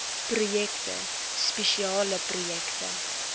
projekte spesiale projekte